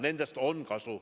Nendest on kasu.